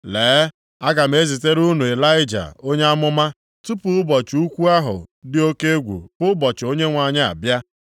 “Lee, aga m ezitere unu Ịlaịja onye amụma, tupu ụbọchị ukwu ahụ dị oke egwu bụ ụbọchị Onyenwe anyị abịa.